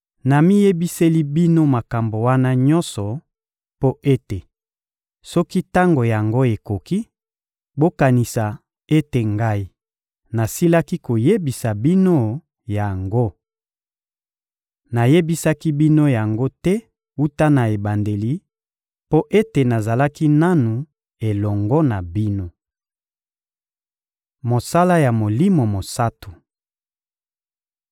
Namiyebiseli bino makambo wana nyonso mpo ete, soki tango yango ekoki, bokanisa ete Ngai nasilaki koyebisa bino yango. Nayebisaki bino yango te wuta na ebandeli, mpo ete nazalaki nanu elongo na bino. Mosala ya Molimo Mosantu